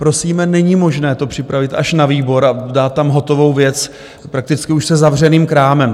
Prosíme, není možné to připravit až na výbor a dát tam hotovou věc prakticky už se zavřeným krámem.